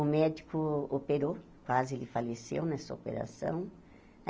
O médico operou, quase ele faleceu nessa operação.